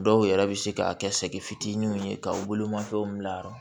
Dɔw yɛrɛ bɛ se k'a kɛ sɛkifitinin ye ka u bolomafɛnw bila yɔrɔ